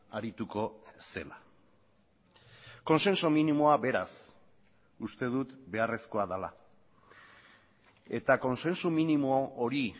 arituko zela kontsensu minimoa beraz uste dut beharrezkoa dela eta kontsensu minimo hori